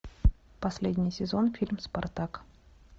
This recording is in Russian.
последний сезон фильм спартак